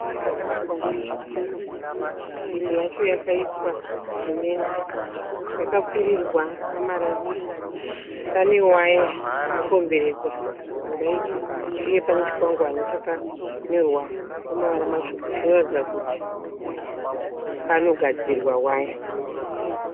Dzimba dzakavakwa nezvitina, imwe yacho yakaiswa simende yakapfirirwa namarata. Pane waya yakakomberedza dzimba idzi uye pane chikwangwani chakanyorwa nemavara matsvuku chinoratidza kuti panogadzirwa waya.